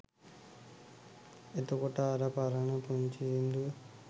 එතකොට අර පරණ පුංචි සින්දුව